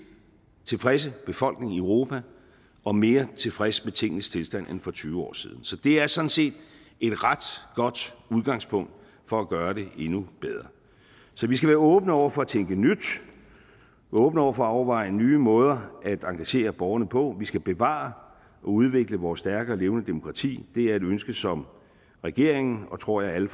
tilfredse befolkning i europa og mere tilfreds med tingenes tilstand end for tyve år siden så det er sådan set et ret godt udgangspunkt for at gøre det endnu bedre så vi skal være åbne over for at tænke nyt og åbne over for at overveje nye måder at engagere borgerne på vi skal bevare og udvikle vores stærke og levende demokrati det er et ønske som regeringen og tror jeg alle